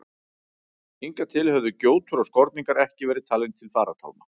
Hingað til höfðu gjótur og skorningar ekki verið talin til farartálma.